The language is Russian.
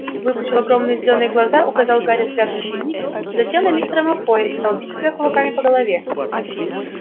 выпучил огромные зелёные глаза указал гарри взглядом на дневник затем на мистера малфоя и стал бить себя кулаками по голове